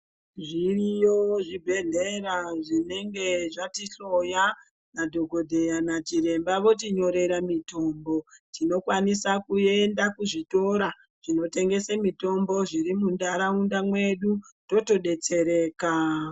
Zviriyo zvibhedhlera zvinenge zvatihloya madhokodheya nachiremba vanonyorera mitombo tinokwanisa kuenda kuzvikora inotengesa mitombo iri mundaraunda medu totodetsereka.